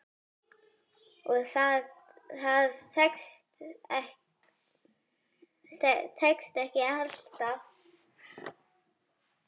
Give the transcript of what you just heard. Og það tekst ekki alltaf.